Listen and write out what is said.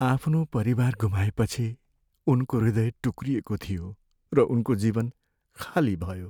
आफ्नो परिवार गुमाएपछि, उनको हृदय टुक्रिएको थियो र उनको जीवन खाली भयो।